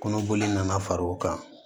Kɔnɔboli nana far'o kan